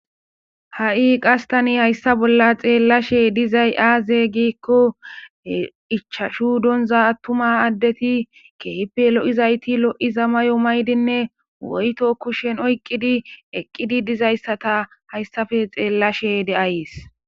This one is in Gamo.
ha7i qas tani hayssa bolla xeellashe dizay aaze giikko ichashu donza attuma addeti kehpe lo7izayti lo7iza may7o maydinne woyto kushshen oyqqidi eqqidi dizayssata hayssafe xeellashe de7ays